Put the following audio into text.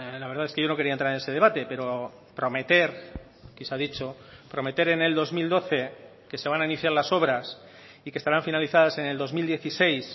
la verdad es que yo no quería entrar en ese debate pero prometer que se ha dicho prometer en el dos mil doce que se van a iniciar las obras y que estarán finalizadas en el dos mil dieciséis